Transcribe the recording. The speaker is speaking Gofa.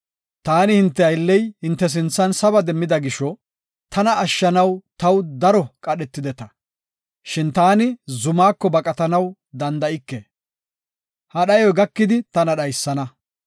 Taani hinte aylley hinte sinthan saba demmida gisho tana ashshanaw taw daro qadhetideta. Shin taani zumako baqatanaw danda7ike; ha dhayoy gakidi tana dhaysana.